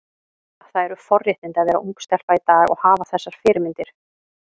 Það eru forréttindi að vera ung stelpa í dag og hafa þessar fyrirmyndir.